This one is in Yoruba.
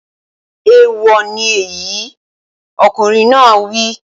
Èèwọ̀ ni èyí! Ọkùnrin náà á wí.